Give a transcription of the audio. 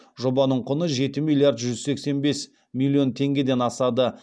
жобаның құны жеті миллиард жүз сексен бес миллион теңгеден асады